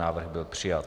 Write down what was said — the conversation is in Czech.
Návrh byl přijat.